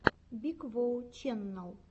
биг воу ченнал